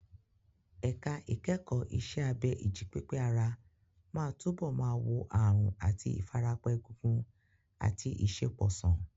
Ẹ̀ka ìkẹ́kọ̀ọ́ iṣẹ́ abẹ ìjípépé ara máa túbọ̀ máa wo àrùn àti ìfarapa egungun àti ìṣẹ́po sàn.